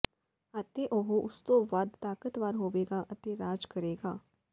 ਅਤੇ ਉਹ ਉਸ ਤੋਂ ਵਧ ਤਾਕਤਵਰ ਹੋਵੇਗਾ ਅਤੇ ਰਾਜ ਕਰੇਗਾ